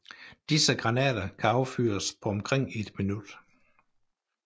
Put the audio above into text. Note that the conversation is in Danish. Disse granater kan affyres på omkring et minut